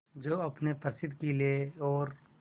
जो अपने प्रसिद्ध किले और